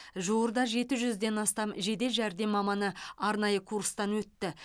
жуырда жеті жүзден астам жедел жәрдем маманы арнайы курстан өтті